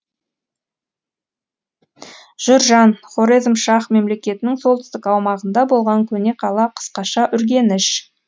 журжан хорезмшах мемлекетінің солтүстік аумағында болған көне қала қысқаша үргеніш